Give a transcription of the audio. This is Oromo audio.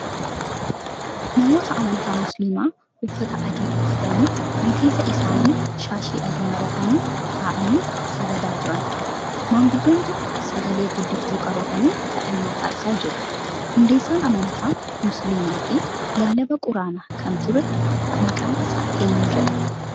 Namoota amantaa musiliimaa uffata adii uffatanii, rifeensa isaanii shaashii adiin maratanii taa'anii sagadaa jiran. Manguddoon tokko sagalee guddiftuu qabatanii kadhannaa taasisaa jiru. Hundeessaan amantaa musiliimaa fi lallabaa quraanaa kan ture maqaan isaa eenyu jedhama?